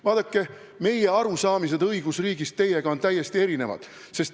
Vaadake, meie arusaamised õigusriigist on teie omadest täiesti erinevad.